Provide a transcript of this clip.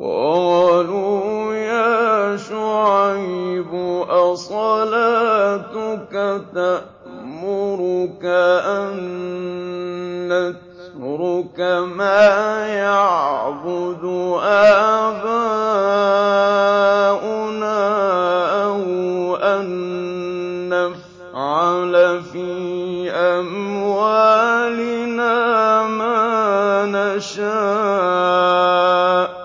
قَالُوا يَا شُعَيْبُ أَصَلَاتُكَ تَأْمُرُكَ أَن نَّتْرُكَ مَا يَعْبُدُ آبَاؤُنَا أَوْ أَن نَّفْعَلَ فِي أَمْوَالِنَا مَا نَشَاءُ ۖ